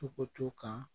Tɔgɔ to kan